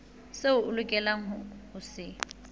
seo o lokelang ho se